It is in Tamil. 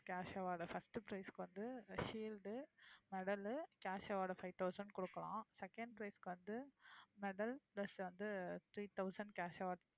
cash award first prize க்கு வந்து shield medal cash award five thousand கொடுக்குறோம் second prize க்கு வந்து medal plus வந்து three thousand cash award